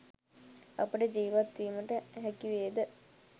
අපට ජීවත් වීමට හැකි වේ ද